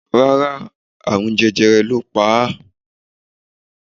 Rárá, àrùn jẹjẹrẹ ló pa á.